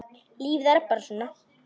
Lífið er bara svona.